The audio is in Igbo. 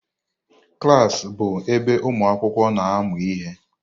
Klas bụ ebe ụmụ akwụkwọ na-amụ ihe.